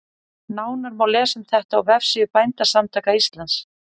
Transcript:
Nánar má lesa um þetta á vefsíðu Bændasamtaka Íslands.